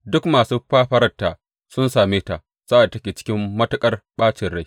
Duk masu fafararta sun same ta sa’ad da take cikin matuƙar ɓacin rai.